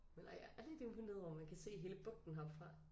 Men nej jeg er lidt imponeret over man kan se hele bugten heroppe fra